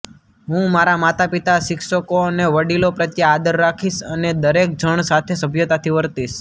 હું મારા માતાપિતા શિક્ષકો અને વડીલો પ્રત્યે આદર રાખીશ અને દરેક જણ સાથે સભ્યતાથી વર્તીશ